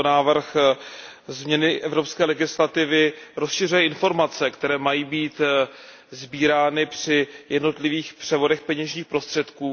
Tento návrh změny evropské legislativy rozšiřuje informace, které mají být sbírány při jednotlivých převodech peněžních prostředků.